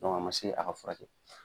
Dɔnku a ma se a ka furakɛ